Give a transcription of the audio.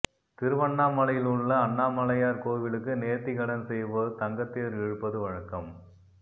திருவண்ணாமலையில் உள்ள அண்ணாமலையார் கோவிலுக்கு நேர்த்திக்கடன் செய்வோர் தங்கத்தேர் இழுப்பது வழக்கம்